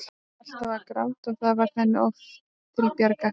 Hún fór alltaf að gráta og það varð henni oft til bjargar.